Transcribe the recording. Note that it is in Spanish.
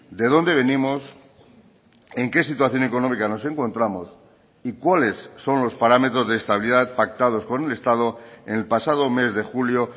de dónde venimos en qué situación económica nos encontramos y cuáles son los parámetros de estabilidad pactados con el estado en el pasado mes de julio